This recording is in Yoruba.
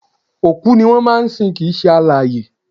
Òkú ni wọ́n máa ń sin kìí ṣe alààyè